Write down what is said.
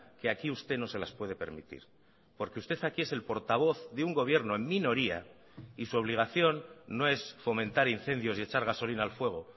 que aquí usted no se las puede permitir porque usted aquí es el portavoz de un gobierno en minoría y su obligación no es fomentar incendios y echar gasolina al fuego